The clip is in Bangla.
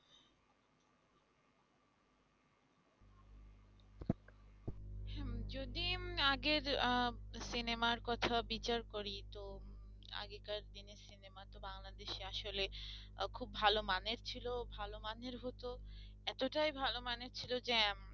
যদি আগের আহ সিনেমার কথা বিচার করি তো আগেকার দিনের সিনেমা তো বাংলাদেশে আসলে খুব ভালো মানের ছিল ভালো মানের হত এতটাই ভাল মানের ছিল যে